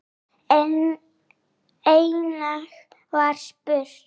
Einnig var spurt